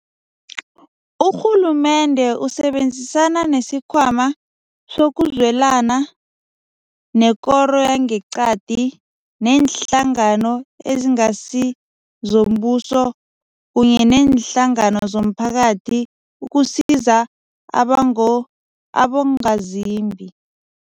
Urhulumende usebenzisana nesiKhwama sokuZwelana, nekoro yangeqadi, neenhlangano ezingasizombuso, kunye neenhlangano zomphakathi ukusiza abongo abongazimbi.